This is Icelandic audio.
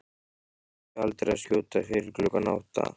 Byrjuðu aldrei að skjóta fyrir klukkan átta.